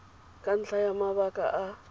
ka ntlha ya mabaka a